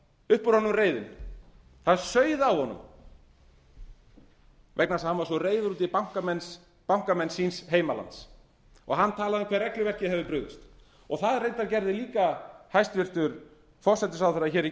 upp úr honum reiðin það sauð á honum vegna þess að hann var svo reiður út í bankamenn síns heimalands hann talaði um hve regluverkið hefði brugðist það reyndar gerði líka hæstvirtur forsætisráðherra í